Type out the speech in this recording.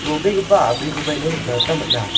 ro·begipa a·brikoba ino nikna gita man·a.